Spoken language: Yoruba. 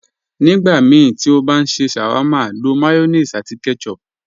Nígbàmíí tí o bá n ṣẹ́ sháwárma, ló mayonéèsì àti ketchup.